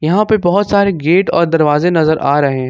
यहाँ पे बहुत सारे गेट और दरवाजे नजर आ रहे हैं।